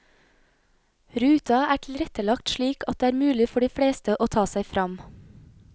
Ruta er tilrettelagt slik at det er mulig for de fleste å ta seg fram.